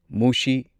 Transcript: ꯃꯨꯁꯤ